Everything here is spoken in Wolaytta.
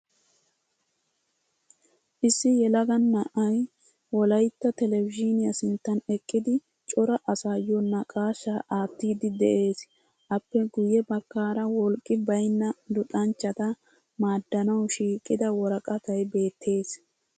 Issi yelaga na'ayi wolayitta televizhiiniya sinttan eqqidi cora asaayyo naaqaashshaa aattiddi de'ees. Appe guyye baggaara wolqqi bayinna luxanchchata maaddanawu shiiqida woraqatay beettees.